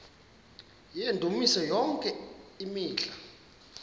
yendumiso yonke imihla